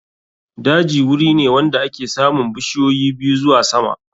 Daji wuri ne wanda ake samun bishiyoyi ɓiyu zuwa sama.